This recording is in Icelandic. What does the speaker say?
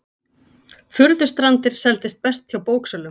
Furðustrandir seldist best hjá bóksölum